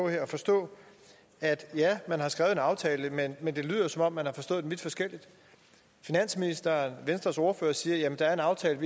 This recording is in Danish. her at forstå at ja man har skrevet en aftale men men det lyder som om man har forstået den vidt forskelligt finansministeren og venstres ordfører siger at der er en aftale